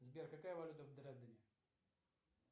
сбер какая валюта в дрездене